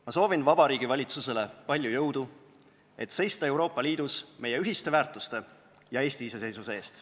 Ma soovin Vabariigi Valitsusele palju jõudu, et seista Euroopa Liidus meie ühiste väärtuste ja Eesti iseseisvuse eest.